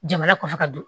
Jamana kɔfɛ ka don